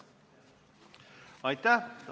Aitäh!